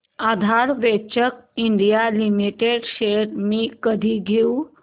आधार ventures India limited shares मी कधी घेऊ